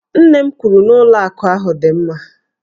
Nne m kwuru na ụlọ akụ ahụ dị mma